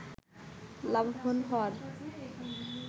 লাভবান হওয়ার